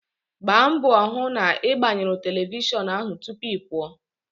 Gbaa mbọ hụ na ị gbanyụrụ telivishọn ahụ tupu ị pụọ!